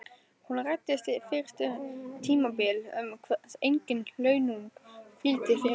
Hún ræddi fyrst um tímabil sem engin launung hvíldi yfir.